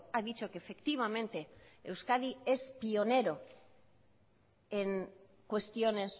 ha dicho que efectivamente euskadi es pionero en cuestiones